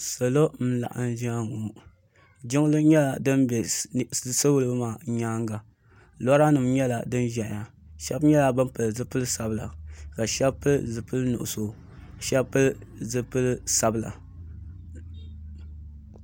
salo n laɣim zaya ŋɔ jinli nyɛla dini bɛ salo maa nyɛŋa lora nim nyɛla dini ʒɛya shɛbi nyɛla bɛn pɛli zibili sabila ka shɛbi pɛli zipɛli nuɣisu ka shɛbi pɛli zipɛli sabila